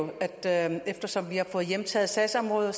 der jo at eftersom vi har fået hjemtaget sagsområdet er